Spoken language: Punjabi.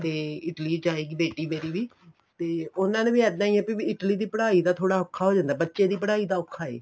ਤੇ Italy ਜਾਏਗੀ ਬੇਟੀ ਮੇਰੀ ਵੀ ਤੇ ਉਹਨਾ ਨੇ ਵੀ ਇੱਦਾ ਹੀ ਵੀ Italy ਦੀ ਪੜਾਈ ਦਾ ਥੋੜਾ ਔਖਾ ਹੋ ਜਾਂਦਾ ਏ ਬੱਚੇ ਪੜਾਈ ਦਾ ਔਖਾ ਏ